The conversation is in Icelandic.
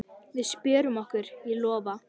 Við spjörum okkur, ég lofa.